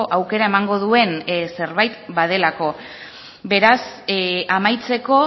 aukera emango duen zerbait badelako beraz amaitzeko